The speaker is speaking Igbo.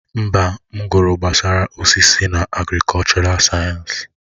Mba, m gụrụ gbasara osisi na agrikọlchọral sayensị.